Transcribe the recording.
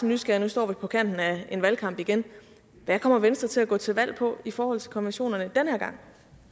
nysgerrig nu står vi på kanten af en valgkamp igen hvad kommer venstre til at gå til valg på i forhold til konventionerne den her gang